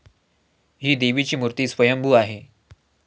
ही देवाची मूर्ती स्वयंभू आहे.